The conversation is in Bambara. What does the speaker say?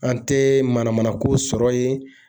An tɛ mana mana ko sɔrɔ yen